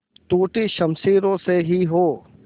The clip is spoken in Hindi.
टूटी शमशीरों से ही हो